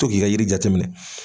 To ki ka yiri jateminɛ.